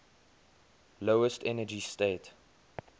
lowest energy state